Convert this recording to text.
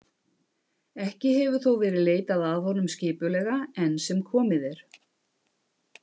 Ekki hefur þó verið leitað að honum skipulega enn sem komið er.